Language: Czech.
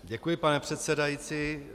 Děkuji, pane předsedající.